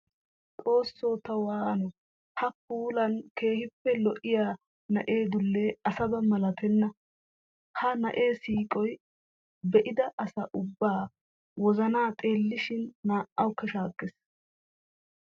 Xooso ta waano! Ha puullane keehippe lo'iya na'ee dulle asabaa malattenna. Ha na'ee siiqoy be'idda asaa ubba wozana xeellishin naa'awu shaakes.